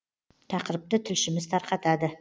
тақырыпты тілшіміз тарқатады